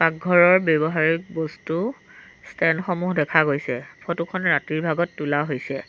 ঘৰৰ ব্যৱহাৰিক বস্তু ষ্টেণ্ড সমূহ দেখা গৈছে। ফটো খন ৰাতিৰ ভাগত তোলা হৈছে।